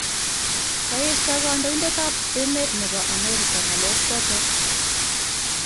kaeshaa kandoindet ab emet nebo Amerika ng'alek chotok